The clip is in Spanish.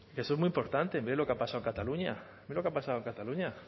eso es muy importante mire lo que ha pasado en cataluña mire lo que ha pasado en cataluña